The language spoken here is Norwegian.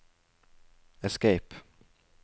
escape